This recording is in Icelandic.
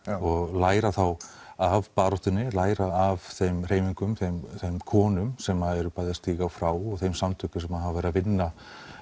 læra þá af baráttunni læra af þeim hreyfingum þeim konum sem eru bæði að stíga frá og þeim samtökum sem hafa verið að vinna